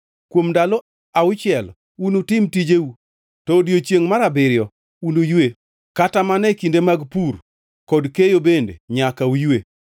“Kuom ndalo auchiel unutim tijeu to odiechiengʼ mar abiriyo unuywe; kata mana e kinde mag pur kod keyo bende nyaka uywe.